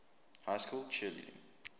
high school cheerleading